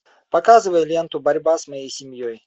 показывай ленту борьба с моей семьей